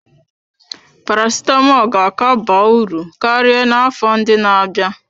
Paracetamol ga-aka ba uru karịa n'afọ ndị na-abịa.